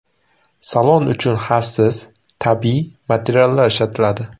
Salon uchun xavfsiz tabiiy materiallar ishlatiladi.